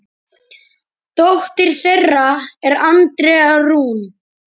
Dóttir þeirra er Andrea Rún.